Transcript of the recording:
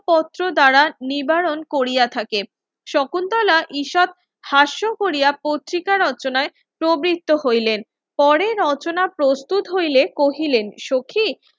পত্র দ্বারা নিবারণ কোরিয়া থাকে শকুন্তলা ঈশাত হাস্য কোরিয়া পত্রিকা রচনায় প্রবৃত্ত হইলেন পরে রচনা প্রস্তুত হইলে কহিলেন সখি